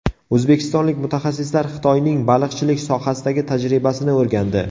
O‘zbekistonlik mutaxassislar Xitoyning baliqchilik sohasidagi tajribasini o‘rgandi.